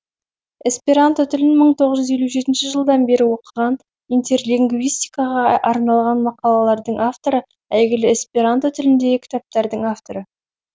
эсперанто тілін мың тоғыз жүз елу жетінші жылдан бері оқыған интерлинвгистикаға арналған мақалалардың авторы әйгілі эсперанто тіліндегі кітаптардың авторы